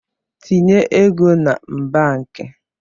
Tinye ego na mbak!